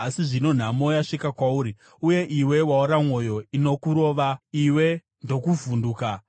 Asi zvino nhamo yasvika kwauri, uye iwe waora mwoyo; inokurova, iwe ndokuvhunduka.